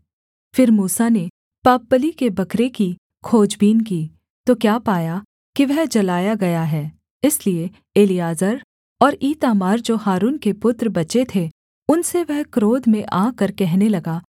फिर मूसा ने पापबलि के बकरे की खोजबीन की तो क्या पाया कि वह जलाया गया है इसलिए एलीआजर और ईतामार जो हारून के पुत्र बचे थे उनसे वह क्रोध में आकर कहने लगा